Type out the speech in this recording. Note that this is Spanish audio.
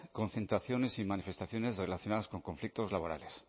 concentraciones y manifestaciones relacionadas con conflictos laborales